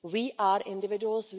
We are individuals.